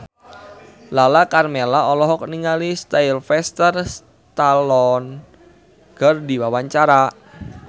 Lala Karmela olohok ningali Sylvester Stallone keur diwawancara